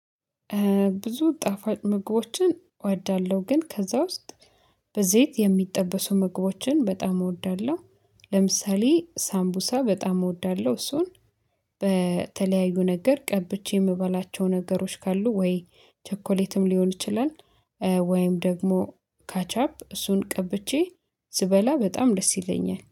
ብዙ ጣፋጭ ምግቦችን እወዳለ፤ ግን ከዛ ውስጥ በዘይት የሚጠበሱ ምግቦችን በጣም እወዳለሁ፤። ለምሳሌ ሳምቡሳ በጣም እወዳለሁ፤። እሱን በተለያዩ ነገር ቀብቼ የምበላቸው ነገሮች ካሉ ወይ ቸኮሌትም ሊሆን ይችላል። ወይም ደግሞ ካቻፕ እሱን ቀብቼ ስበላ በጣም ደስ ይለኛል